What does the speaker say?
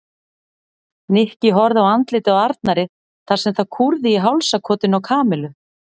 Nikki horfði á andlitið á Arnari þar sem það kúrði í hálsakotinu á Kamillu.